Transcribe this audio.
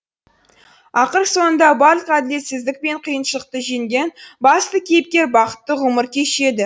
ақыр соңында барлық әділетсіздік пен қиыншылықты жеңген басты кейіпкер бақытты ғұмыр кешеді